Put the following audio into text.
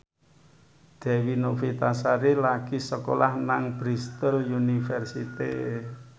Dewi Novitasari lagi sekolah nang Bristol university